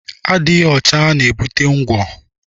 Adịghị ọcha na-ebute ngwọ.